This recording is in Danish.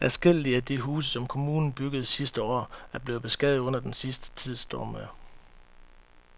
Adskillige af de huse, som kommunen byggede sidste år, er blevet beskadiget under den sidste tids stormvejr.